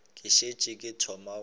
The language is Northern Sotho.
ke šetše ke thoma go